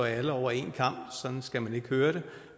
alle over en kam sådan skal man ikke høre det